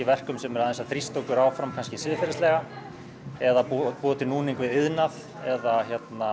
verkum sem þrýsta okkur fram siðferðislega eða búa búa til núning við iðnað eða